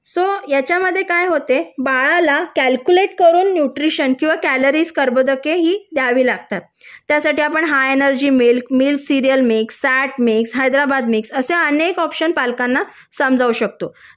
so याच्यामध्ये काय होते बाळाला कॅल्क्युलेट करून न्यूट्रिशन किंवा कॅलरीज कर्बोदके ही द्यावी लागतात त्यासाठी आपण हा energy milk milk cereal mix set mix Hyderabad mix option आपण पालकांना समजावू शकतो